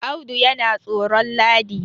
Audu yana tsoro ladi